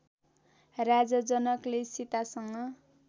राजा जनकले सीतासँग